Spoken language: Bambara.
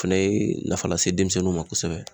O fɛnɛ ye nafa lase denmisɛnninw ma kosɛbɛ